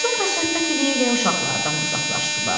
Sonra söhbət eləyə-eləyə uşaqlardan uzaqlaşdılar.